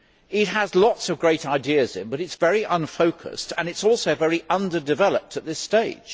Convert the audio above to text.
It has lots of great ideas but it is very unfocused and it is also very underdeveloped at this stage.